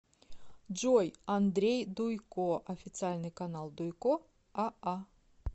джой андрей дуйко официальный канал дуйко а а